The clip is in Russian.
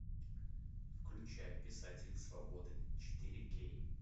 включай писатели свободы четыре кей